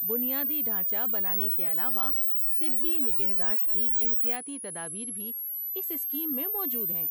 بنیادی ڈھانچہ بنانے کے علاوہ طبی نگہداشت کی احتیاطی تدابیر بھی اس اسکیم میں موجود ہیں۔